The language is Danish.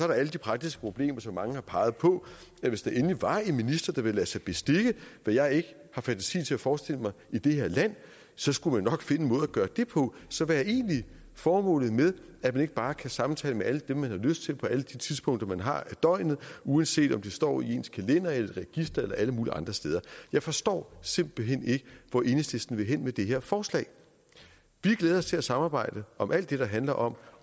der alle de praktiske problemer som mange har peget på hvis der endelig var en minister der ville lade sig bestikke hvad jeg ikke har fantasi til at forestille mig i det her land så skulle man nok finde en måde at gøre det på så hvad er egentlig formålet med at man ikke bare kan samtale med alle dem man har lyst til på alle de tidspunkter man har af døgnet uanset om de står i ens kalender eller et register eller alle mulige andre steder jeg forstår simpelt hen ikke hvor enhedslisten vil hen med det her forslag vi glæder os til at samarbejde om alt det der handler om